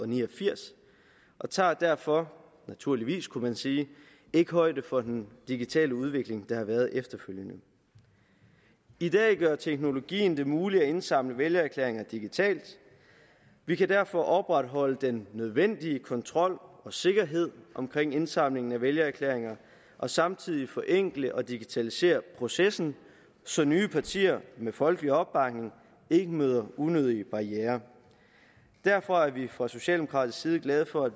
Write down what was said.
ni og firs og tager derfor naturligvis kunne man sige ikke højde for den digitale udvikling der har været efterfølgende i dag gør teknologien det muligt at indsamle vælgererklæringer digitalt vi kan derfor opretholde den nødvendige kontrol og sikkerhed omkring indsamlingen af vælgererklæringer og samtidig forenkle og digitalisere processen så nye partier med folkelig opbakning ikke møder unødige barrierer derfor er vi fra socialdemokratisk side glade for at